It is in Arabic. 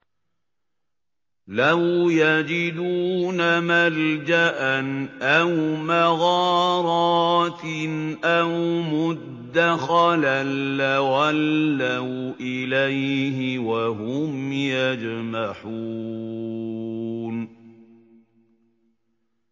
لَوْ يَجِدُونَ مَلْجَأً أَوْ مَغَارَاتٍ أَوْ مُدَّخَلًا لَّوَلَّوْا إِلَيْهِ وَهُمْ يَجْمَحُونَ